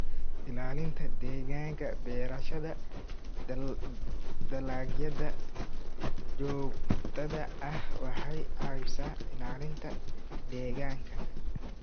Ilaalinta Deegaanka Beerashada dalagyada joogtada ahi waxay caawisaa ilaalinta deegaanka.